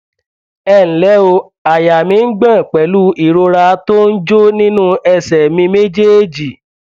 ẹ ǹlẹ o àyà mi ń gbọn pẹlú ìrora tó ń jó nínú ẹsẹ mi méjèèjì